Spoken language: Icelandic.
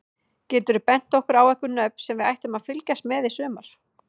Geturðu bent okkur á einhver nöfn sem við ættum að fylgjast með í sumar?